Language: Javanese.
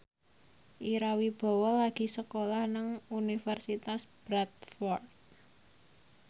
Ira Wibowo lagi sekolah nang Universitas Bradford